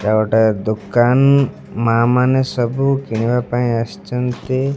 ଏଇଟା ଗୋଟେ ଦୋକାନ ମା ମାନେ ସବୁ କିଣିବା ପାଇଁ ଆସିଚନ୍ତି।